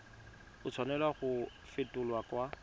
a tshwanela go fetolwa kwa